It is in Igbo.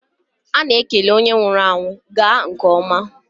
A na-ekele onye nwụrụ anwụ; gaa nke ọma.